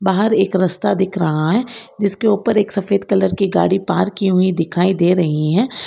बाहर एक रस्ता दिख रहा है जिसके ऊपर एक सफेद कलर की गाड़ी पार्क की हुई दिखाई दे रही है।